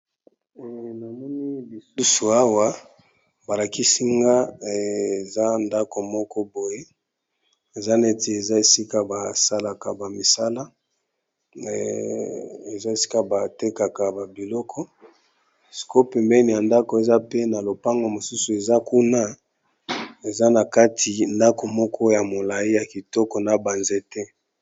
Namoni lisusu awa balakisinga eza ndako moko boye eza neti esika basalaka ba misala eza esika batekaka ba biloko sikoyo pe mbeni ya ndako eza pe na lopango mosusu eza kuna eza na kati ndako moko ya molai ya kitoko na ba nzete.